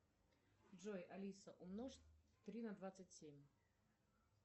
джой алиса умножь три на двадцать семь